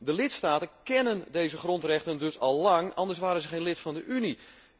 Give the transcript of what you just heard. De lidstaten kennen deze grondrechten dus al lang, anders waren ze geen lid van de Unie.